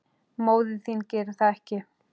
Móðir þín gerir það ekki.